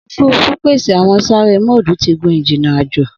Ofurufu pese awọn sare mode ti gun-ijinna ajo.